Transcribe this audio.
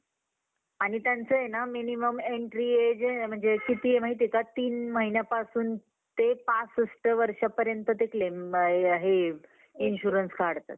आणि त्यांचं ये ना minimum entry age आहे किती आहे माहित ये का तीन वर्षांपासून ते पासष्ठ वर्षापर्यंत ते claim हे insurance काढतात.